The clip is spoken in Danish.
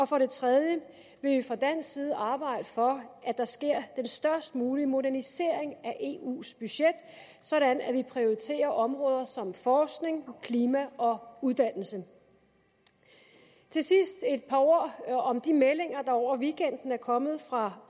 for det tredje vil vi fra dansk side arbejde for at der sker den størst mulige modernisering af eus budget sådan at vi prioriterer områder som forskning klima og uddannelse til sidst et par ord om de meldinger der over weekenden er kommet fra